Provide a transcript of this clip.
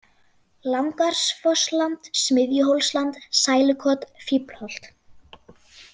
Langárfossland, Smiðjuhólsland, Sælukot, Fíflholt